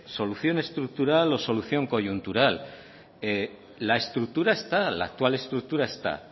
solución estructural o solución coyuntural la estructura está la actual estructura está